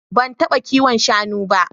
Ban taɓa kiwon shanu ba.